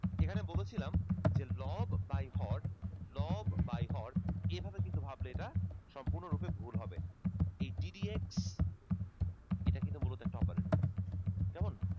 এইখানে বলেছিলাম যে লব by হর লব by হর এভাবে ভাবলে কিন্তু এটা সম্পূর্ণ রূপে ভুল হবে এই ddx এটা মূলত একটা oprator